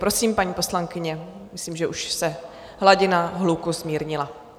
Prosím, paní poslankyně, myslím, že už se hladina hluku zmírnila.